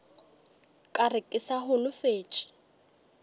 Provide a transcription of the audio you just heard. ka re ke sa holofetše